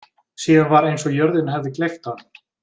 Síðan var eins og jörðin hefði gleypt hann.